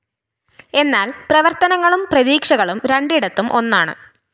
എന്നാല്‍ പ്രവര്‍ത്തനങ്ങളും പ്രതീക്ഷകളും രണ്ടിടത്തും ഒന്നാണ്